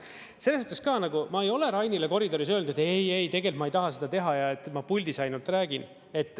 Selles mõttes ka, nagu ma ei ole Rainile koridoris öelnud, et ei-ei, tegelikult ma ei taha seda teha ja ma puldis ainult räägin.